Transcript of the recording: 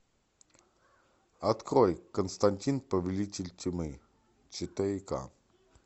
открой константин повелитель тьмы четыре ка